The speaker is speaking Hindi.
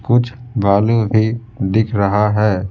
कुछ भालू भी दिख रहा है।